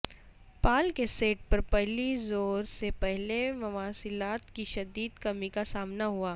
پال کے سیٹ پر پہلی ظہور سے پہلے مواصلات کی شدید کمی کا سامنا ہوا